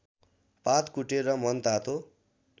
पात कुटेर मनतातो